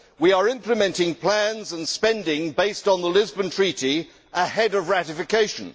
We are implementing plans and spending based on the Lisbon Treaty ahead of ratification.